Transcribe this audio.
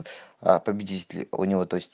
а победители у него то есть